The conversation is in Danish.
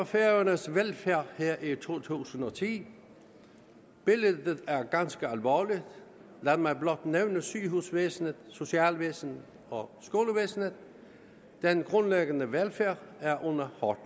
færøernes velfærd her i to tusind og ti billedet er ganske alvorligt lad mig blot nævne sygehusvæsenet socialvæsenet og skolevæsenet den grundlæggende velfærd er under hårdt